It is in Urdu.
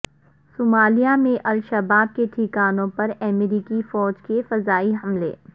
صومالیہ میں الشباب کے ٹھکانوں پر امریکی فوج کے فضائی حملے